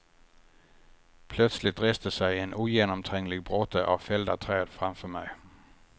Plötsligt reste sig en ogenomtränglig bråte av fällda träd framför mig.